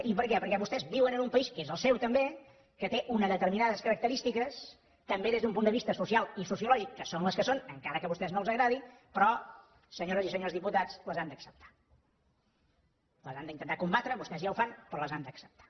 i per què perquè vostès viuen en un país que és el seu també que té unes determinades característiques també des d’un punt de vista social i sociològic que són les que són encara que a vostès no els agradi però senyores i senyors diputats les han d’acceptar les han d’intentar combatre vostès ja ho fan però les han d’acceptar